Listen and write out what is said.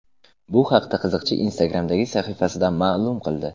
Bu haqda qiziqchi Instagram’dagi sahifasida ma’lum qildi.